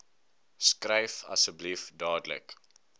skryf asseblief duidelik